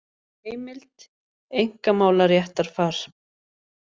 Heimild: Einkamálaréttarfar.